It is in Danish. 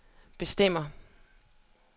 bestemme